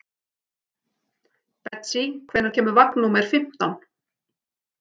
Betsý, hvenær kemur vagn númer fimmtán?